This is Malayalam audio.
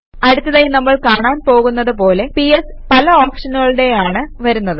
അടുത്തതായി നമ്മൾ കാണാൻ പോകുന്നത് പോലെ പിഎസ് പല ഓപ്ഷനുകളോടെയാണ് വരുന്നത്